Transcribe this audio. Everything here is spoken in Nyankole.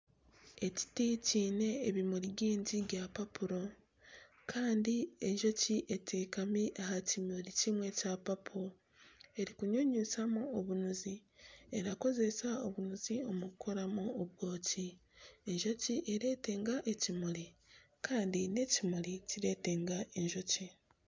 Ekiti ekiine ebimuri byingi ebya papo kandi enjoki eteekami aha kimuri kimwe ekya papo erikunyunyutamu obunuzi, nekoresa obunuzi omu kukoramu obwooki, enjoki neyetega ekimuri kandi n'ekimuri nikyetega enjoki.